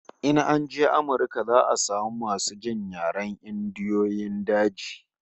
In an je Amirka za'a samu masu jin yaren Indiyoyin daji